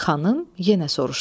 Xanım yenə soruşdu.